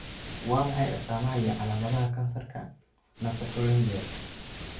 Waa maxay astamaha iyo calaamadaha kansarka naasopharyngeal?